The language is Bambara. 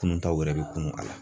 Kunun taw yɛrɛ bi kunnu a la